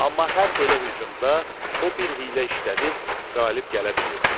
Amma hər belə hücumda o bir hiylə işlədib qalib gələ bilirdi.